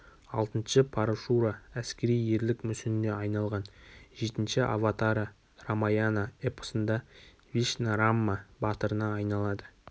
алтыншы парашура әскери ерлік мүсініне айналған жетінші аватара рамаяна эпосында вишна рамма батырына айналады